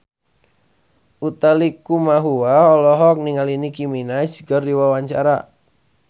Utha Likumahua olohok ningali Nicky Minaj keur diwawancara